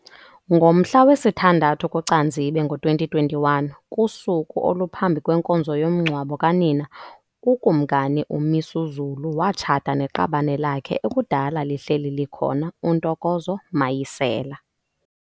Ngomhla wesithandathu kuCanzibe ngo2021, kusuku oluphambi kwenkonzo yomngcwabo kanina, uKumkani uMisuzulu watshata neqabane lakhe ekudala lihleli likhona uNtokozo Mayisela.